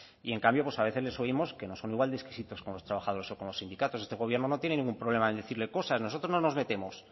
y en cambio pues a veces les oímos que no son igual de exquisitos con los trabajadores o con los sindicatos este gobierno no tiene ningún problema en decirle cosas nosotros no nos metemos